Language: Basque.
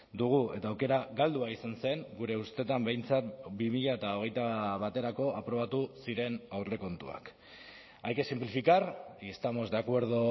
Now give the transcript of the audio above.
dugu eta aukera galdua izan zen gure ustetan behintzat bi mila hogeita baterako aprobatu ziren aurrekontuak hay que simplificar y estamos de acuerdo